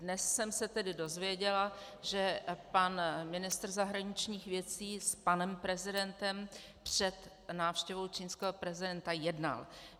Dnes jsem se tedy dozvěděla, že pan ministr zahraničních věcí s panem prezidentem před návštěvou čínského prezidenta jednal.